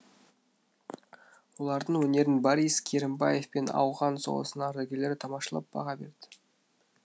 олардың өнерін борис керімбаев пен ауған соғысының ардагерлері тамашалап баға берді